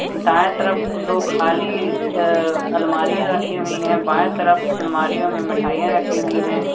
दाएं तरफ दो खाली अ अलमारियां रखी हुई है बाएं तरफ अलमारियों में मिठाइयां रखी हुई हैं।